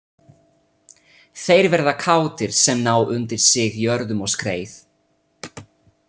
Þeir verða kátir sem ná undir sig jörðum og skreið.